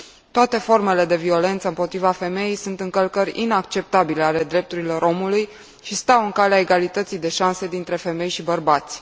Toate formele de violență împotriva femeii sunt încălcări inacceptabile ale drepturilor omului și stau în calea egalității de șanse dintre femei și bărbați.